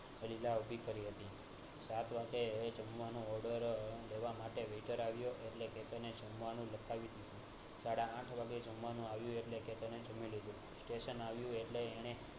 ઊભી કરી હતી જમવાનો order લેવા માટે waiter આવ્યો એટલે કેતન એ જમવાનું લખાવી દીધું સાડા આઠ વાગે જમવાનું આવ્યું એટલે કેતન એ જમી લીધું સ્ટેશને આવીએ એટલે